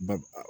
Ba